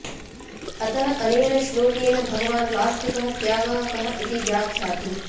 अतः अनेन श्लोकेन भगवान् वास्तिकः त्यागः कः इति व्याख्याति